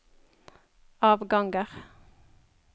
avganger